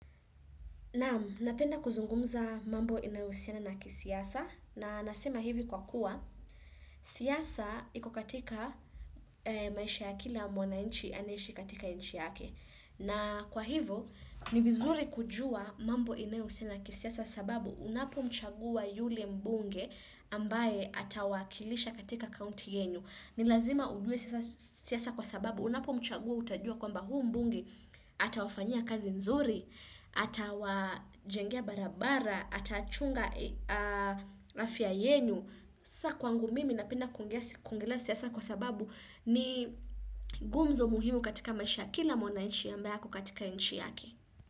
Napenda kuzungumza mambo inayohusiana na kisiasa na nasema hivi kwa kuwa siasa iko katika maisha ya kila mwananchi anaeishi katika nchi yake. Na kwa hivyo ni vizuri kujua mambo inayohusiana na kisiasa sababu unapomchagua yule mbunge ambaye atawakilisha katika kaunti yenyu. Ni lazima ujuwe siasa kwa sababu, unapo mchagua utajua kwamba huyu mbunge atawafanyia kazi nzuri, atawajengea barabara, atachunga afya yenu. Sasa kwangu mimi napenda kuongea siasa kwa sababu ni gumzo muhimu katika maisha ya kila mwananchi ambaye ako katika nchi yake.